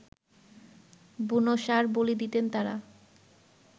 বুনো ষাঁড় বলি দিতেন তারা